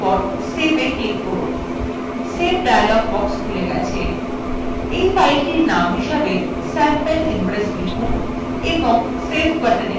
save dialog box খুলে গেছে we file name হিসাবে sample impress লিখুন এবং save button click করুন